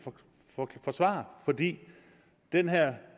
forsvare fordi den her